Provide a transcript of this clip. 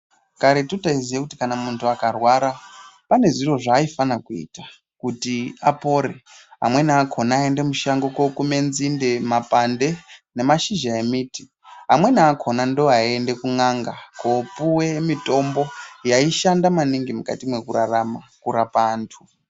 Karetu taiziye kuti kana muntu akarwara pane zviro zvaaifana kuita kuti apore. Amweni akona aiende mushango kokume nzinde, mapande nemashizha emiti. Amweni akona ndoaiende kun'anga kopuwe mitombo yaishanda maningi mwukati mwekurarama kurapa antu.